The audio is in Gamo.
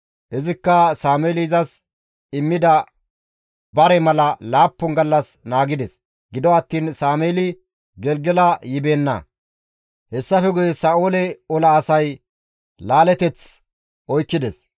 Izikka Sameeli izas immida bareza mala laappun gallas gakkanaashe naagides; gido attiin Sameeli Gelgela yibeenna; hessafe guye Sa7oole ola asay laaleteth oykkides.